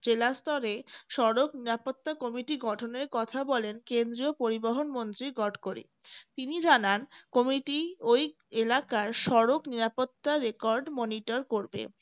জেলা স্তরে সড়ক নিরাপত্তা কমিটি গঠনের কথা বলেন কেন্দ্রীয় পরিবহন মন্ত্রী গডকরি তিনি জানান কমিটি ওই এলাকার সড়ক নিরাপত্তা record monitor করবে